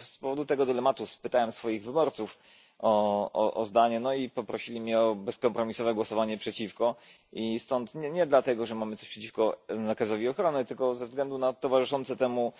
Z powodu tego dylematu spytałem swoich wyborców o zdanie i poprosili mnie o bezkompromisowe głosowanie przeciwko nie dlatego że mamy coś przeciwko nakazowi ochrony, tylko ze względu na towarzyszące temu